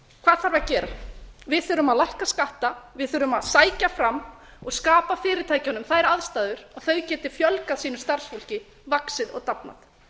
hvað þarf að gera við þurfum að lækka skatta við þurfum að sækja fram og skapa fyrirtækjunum þær aðstæður að þau geti fjölgað sínu starfsfólki vaxið og dafnað